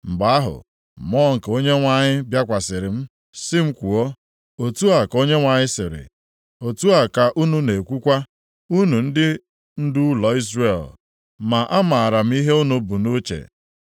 Mgbe ahụ, Mmụọ nke Onyenwe anyị bịakwasịrị m sị m kwuo, “Otu a ka Onyenwe anyị sịrị: otu a ka unu na-ekwukwa, unu ndị ndu ụlọ Izrel, ma amaara m ihe unu bụ nʼuche.